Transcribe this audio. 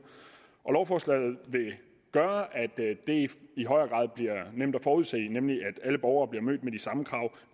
lovforslaget vil gøre at dette i højere grad bliver nemt at forudse nemlig ved at alle borgere bliver mødt med de samme krav